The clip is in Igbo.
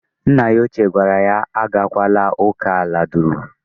Nna ya ochie gwara ha agakwala uka aladura.